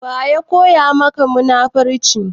Waya koya maka munafurci?